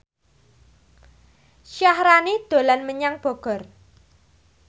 Syaharani dolan menyang Bogor